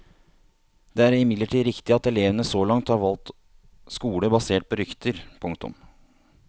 Det er imidlertid riktig at elevene så langt har valgt skole basert på rykter. punktum